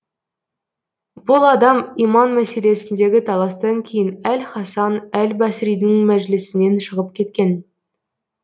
бұл адам иман мәселесіндегі таластан кейін әл хасан әл басридің мәжілісінен шығып кеткен